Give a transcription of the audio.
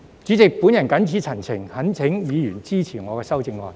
主席，我謹此陳辭，懇請議員支持我的修正案。